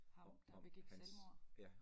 Ham der begik selvmod